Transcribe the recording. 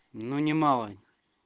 ну немало